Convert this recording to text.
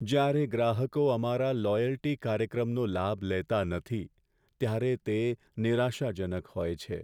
જ્યારે ગ્રાહકો અમારા લોયલ્ટી કાર્યક્રમનો લાભ લેતા નથી, ત્યારે તે નિરાશાજનક હોય છે.